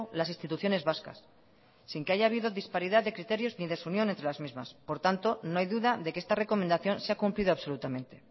las instituciones vascas sin que haya habido disparidad de criterios ni desunión entre las mismas por tanto no hay duda de que esta recomendación se ha cumplido absolutamente